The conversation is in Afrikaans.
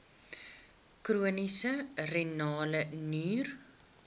chroniese renale nier